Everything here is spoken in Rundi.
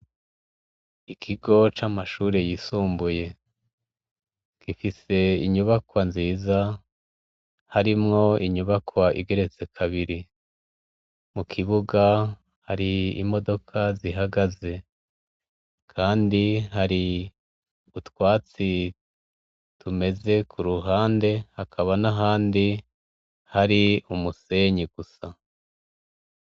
Ikigo c'amashure yisumbuye gifise inyubakwa nziza harimwo inyubakwa igeretse kabiri mu kibuga hari imodoka zihagaze kandi hari utwatsi tumeze ku ruhande hakaba n'ahandi hari umusenyi gusa.